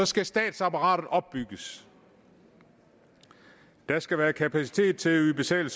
skal statsapparatet opbygges der skal være kapacitet til at yde basale